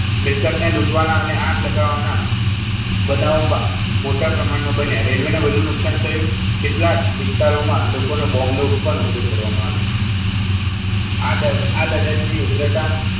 મિલકતને લૂંટવાના અને આગ લગાવવાના બનાવો મોટા પ્રમાણમાં બન્યા રેલવેના ને વધુ નુકસાન થયું કેટલાક વિસ્તારોમાં લોકોનો બોમ્બે નો પણ ઉપયોગ કરવામાં આવે આ લડતની ઉગ્રતામાં,